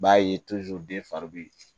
B'a ye den fari bɛ